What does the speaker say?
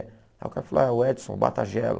Aí o cara falou, é o Edson, o Batagelo.